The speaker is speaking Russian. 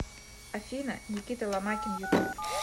афина никита ломакин ютуб